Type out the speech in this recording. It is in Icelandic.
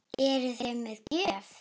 Eruði með gjöf?